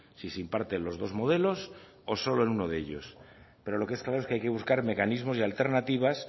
si se imparte en los dos modelos o solo en uno de ellos pero lo que está claro es que hay buscar mecanismos y alternativas